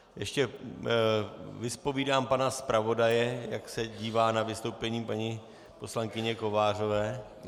Ještě vyzpovídám pana zpravodaje, jak se dívá na vystoupení paní poslankyně Kovářové.